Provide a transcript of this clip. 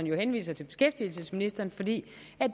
jo henviser til beskæftigelsesministeren fordi